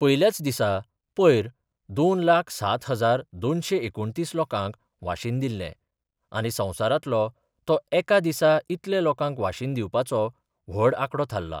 पयल्याच दिसा पयर दोन लाख सात हजार दोनशे एकुणतीस लोकांक वाशीन दिल्ले आनी संवसारातलो तो एका दिसा इतले लोकांक वाशीन दिवपाचो व्हड आंकडो थारला.